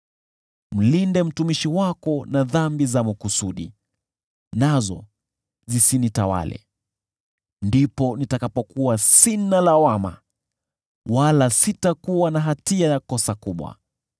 Mlinde mtumishi wako na dhambi za makusudi, nazo zisinitawale. Ndipo nitakapokuwa sina lawama, wala sitakuwa na hatia ya kosa kubwa.